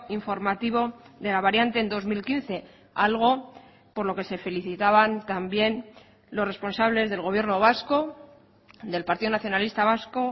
informativo de la variante en dos mil quince algo por lo que se felicitaban también los responsables del gobierno vasco del partido nacionalista vasco